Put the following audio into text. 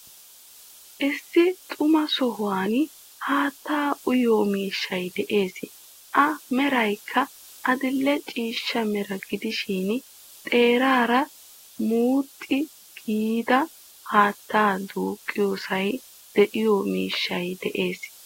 Issi xuma sohuwan haattaa uyiyoo miishshay de'ees. A meraykka adidhe ciishshaa mera gidishin xeeraara muxxe gidida haattaa duuqqiyoosay de"iyo miishshay de'ees.